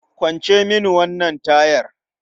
Kwance mini wannan tayar.